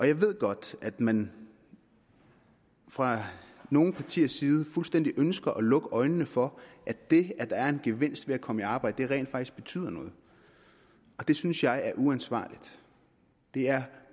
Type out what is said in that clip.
jeg ved godt at man fra nogle partiers side fuldstændig ønsker at lukke øjnene for at det at der er en gevinst ved at komme i arbejde rent faktisk betyder noget det synes jeg er uansvarligt det er